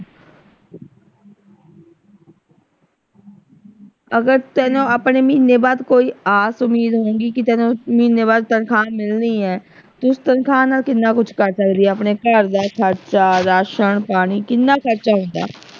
ਅਗਰ ਤੈਨੂੰ ਹਮ ਮਹੀਨੇ ਬਾਅਦ ਕੋਈ ਆਸ ਉਮੀਦ ਹੋਊਗੀ ਕਿ ਤੈਨੂੰ ਮਹੀਨੇ ਬਾਅਦ ਤਨਖ਼ਾਹ ਮਿਲਣੀ ਹੈ ਤੂੰ ਤਨਖ਼ਾਹ ਨਾਲ ਕਿੰਨਾ ਕੁਛ ਕਰ ਸਕਦੀ ਏ ਆਪਣੇ ਘਰ ਦਾ ਖਰਚਾ ਰਾਸ਼ਨ ਪਾਣੀ ਕਿੰਨਾ ਖਰਚਾ ਹੁੰਦਾ